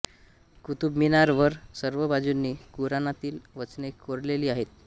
कुतुब मिनार वर सर्व बाजुंनी कुराणातिल वचने कोरलेली आहेत